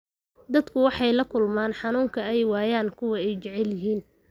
Dadku waxay la kulmeen xanuunka ay waayaan kuwa ay jecel yihiin.